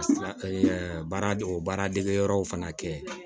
baara o baara dege yɔrɔw fana kɛ